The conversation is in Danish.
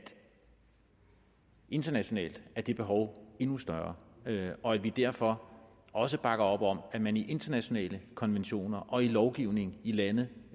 internationalt er det behov endnu større og at vi derfor også bakker op om at man i internationale konventioner og lovgivning i lande